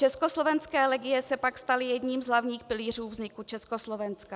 Československé legie se pak staly jedním z hlavních pilířů vzniku Československa.